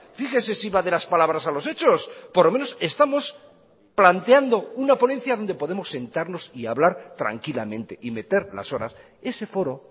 fíjese si va de las palabras a los hechos por lo menos estamos planteando una ponencia donde podemos sentarnos y hablar tranquilamente y meter las horas ese foro